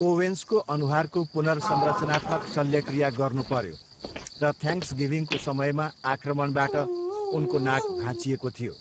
ओवेन्सको अनुहारको पुनर्संरचनात्मक शल्यक्रिया गर्नुपर्यो र थ्याङ्क्सगिभिङको समयमा आक्रमणबाट उनको नाक भाँचिएको थियो।